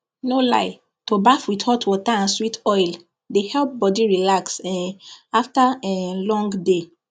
no lie to baff with hot water and sweet oil dey help body relax um after um long day